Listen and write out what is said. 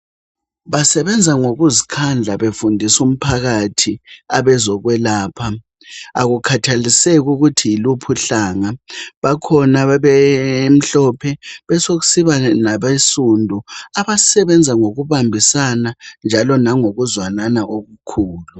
Basebenza ngokuzikhandla befundisu mphakathi abezokwelapha akukhathaliseki ukuthi yiluphi uhlanga. Bakhona abemhlophe besekusiba nabensundu abasebenza ngokubambisana njalo langokuzwanana okukhulu.